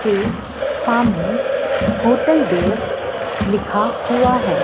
के सामने होटल देव लिखा हुआ है।